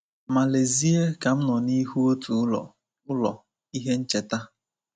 Ma lezie ka m nọ n’ihu otu ụlọ, ụlọ, ihe ncheta.